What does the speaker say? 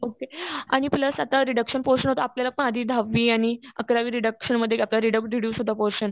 Okay आणि plus आता reduction होत आपल्याला माझी दहावी आणि अकरावी रिडक्शनमध्ये आपला रीडक्ट डीडयुस होता पोरशन.